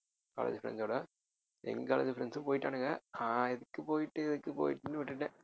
college friends ஓட எங்க college friends ம் போயிட்டானுங்க நான் எதுக்கு போயிட்டு எதுக்கு போயிட்டுன்னு விட்டுட்டேன்